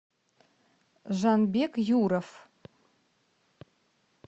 жанбек юров